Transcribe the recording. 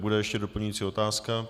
Bude ještě doplňující otázka?